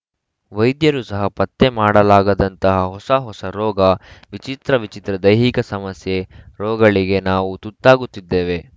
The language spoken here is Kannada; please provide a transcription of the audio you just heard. ವೈದ್ಯರೂ ಸಹ ಪತ್ತೆ ಮಾಡಲಾಗದಂತಹ ಹೊಸ ಹೊಸ ರೋಗ ವಿಚಿತ್ರ ವಿಚಿತ್ರ ದೈಹಿಕ ಸಮಸ್ಯೆ ರೋಗಳಿಗೆ ನಾವು ತುತ್ತಾಗುತ್ತಿದ್ದೇವೆ